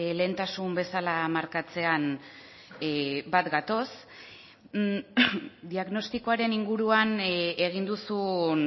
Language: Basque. lehentasun bezala markatzean bat gatoz diagnostikoaren inguruan egin duzun